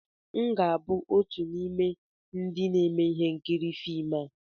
M ga-abụ otu n'ime ndị na-eme ihe nkiri na fim a